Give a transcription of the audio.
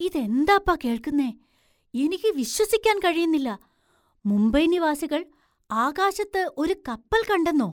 ഇതെന്താപ്പാ കേൾക്കുന്നേ, എനിക്ക് വിശ്വസിക്കാൻ കഴിയുന്നില്ല! മുംബൈ നിവാസികൾ ആകാശത്ത് ഒരു കപ്പല്‍ കണ്ടെന്നോ!